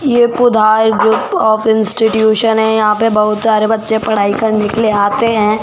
ये Pudhar group of institution है यहां पे बहुत सारे बच्चे पढ़ाई करने के लिए आते हैं।